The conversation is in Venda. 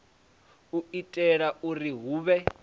u itela uri hu vhe